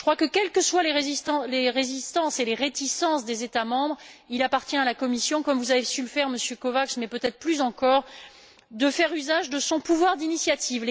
Je crois que, quelles que soient les résistances et les réticences des États membres, il appartient à la Commission comme vous avez su le faire, Monsieur Kovács, mais peut être plus encore de faire usage de son pouvoir d'initiative.